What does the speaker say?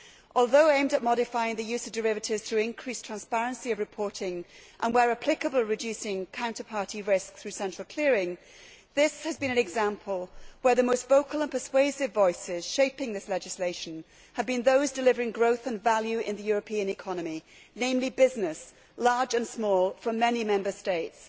Although aimed at modifying the use of derivatives through increased transparency of reporting, and, where applicable, reducing counter party risk through central clearing, this has been an example where the most vocal and persuasive voices shaping this legislation have been those delivering growth and value in the European economy, namely businesses, large and small, from many Member States.